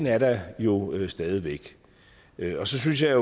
er der jo stadig væk så synes jeg